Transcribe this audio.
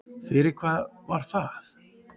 Fyrir hvað var það?